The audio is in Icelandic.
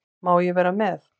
Má ég vera með?